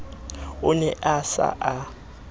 o ne a sa a